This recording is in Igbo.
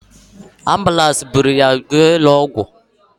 Ambụlansi bụrụ ya jee ụlọ ọgwụ